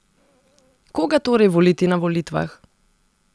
Koga torej voliti na volitvah?